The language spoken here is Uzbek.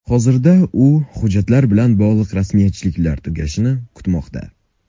Hozirda u hujjatlar bilan bog‘liq rasmiyatchiliklar tugashini kutmoqda.